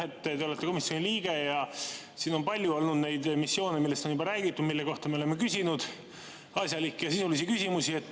Te olete komisjoni liige ja on olnud juba palju neid missioone, millest on siin räägitud ja mille kohta me oleme küsinud asjalikke ja sisulisi küsimusi.